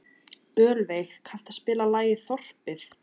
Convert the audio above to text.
Ölveig, kanntu að spila lagið „Þorpið“?